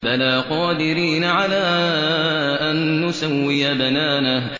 بَلَىٰ قَادِرِينَ عَلَىٰ أَن نُّسَوِّيَ بَنَانَهُ